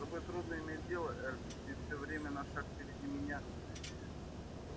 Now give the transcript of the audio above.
с тобой трудно иметь дело эрби ты все время на шаг впереди меня